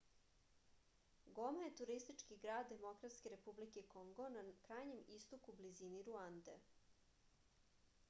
goma je turistički grad demokratske republike kongo na krajnjem istoku u blizini ruande